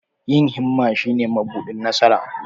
Yin himma shine mabuɗin nasara.